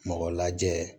Mɔgɔ lajɛ